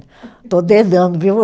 Estou dedando, viu?